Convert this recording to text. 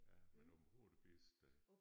Ja men Aabenraa er det bedste sted